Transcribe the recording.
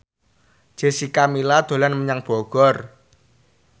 Jessica Milla dolan menyang Bogor